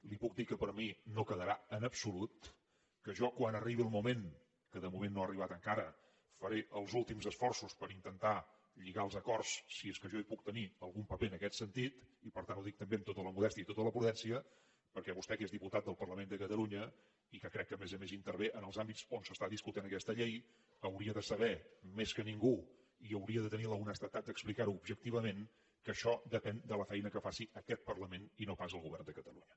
li puc dir que per mi no quedarà en absolut que jo quan arribi el moment que de moment no ha arribat encara faré els últims esforços per intentar lligar els acords si és que jo hi puc tenir algun paper en aquest sentit i per tant ho dic també amb tota la modèstia i tota la prudència perquè vostè que és diputat del parlament de catalunya i que crec que a més a més intervé en els àmbits on s’està discutint aquesta llei hauria de saber més que ningú i hauria de tenir l’honestedat d’explicarho objectivament que això depèn de la feina que faci aquest parlament i no pas del govern de catalunya